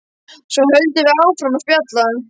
Svo höldum við áfram að spjalla.